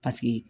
Paseke